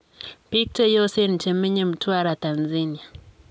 Biik cheyosen chemenye Mtwara, Tanzania.